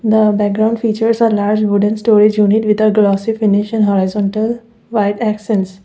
the background features are large wooden storage unit with a glassy finish and horizontal white accsense.